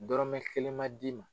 Dɔrɔmɛ kelen ma d'i ma.